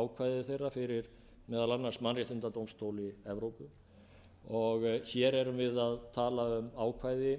ákvæði þeirra fyrir meðal annars mannréttindadómstóli evrópu og hér erum við að tala um ákvæði